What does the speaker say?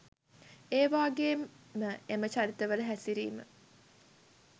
ඒවාගේම එම චරිතවල හැසිරිම